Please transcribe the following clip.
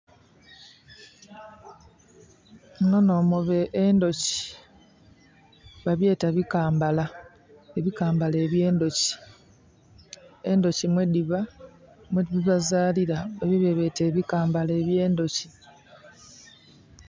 Muno no muba endhoki, babyeta bikambala. Ebikambala ebye ndhoki. Endhoki mwe diba, mwedhizalila ebyo byebeta ebikambala ebye ndhoki